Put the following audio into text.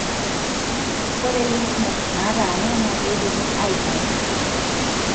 ore lymph nodes nataana na kindimi aitayu.